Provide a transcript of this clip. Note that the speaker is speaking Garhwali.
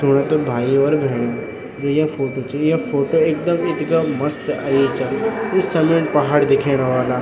सुना त भाई और भेणीयो जू या फोटो च या फोटो एकदम इथगा मस्त अयीं चा इस सलेन पहाड़ दिखेंण वला।